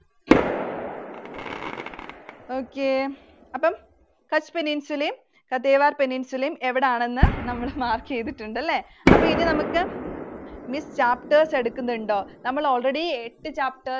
Okay. അപ്പൊ Kutch Peninsula ഉം Kathiawar Peninsula ഉം എവിടാണെന്നു നമ്മള് mark ചെയ്തിട്ടുണ്ടല്ലേ. അപ്പോ ഇനി നമുക്ക് Miss, chapters എടുക്കുന്നുണ്ടോ? നമ്മൾ already എട്ട് chapters